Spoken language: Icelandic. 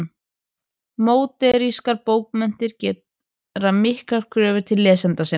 Módernískar bókmenntir gera miklar kröfur til lesenda sinna.